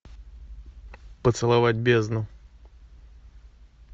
поцеловать бездну